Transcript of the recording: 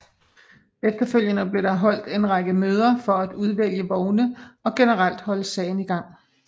Efterfølgende blev der holdt en række møder for at udvælge vogne og generelt holde sagen i gang